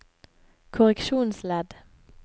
korreksjonsledd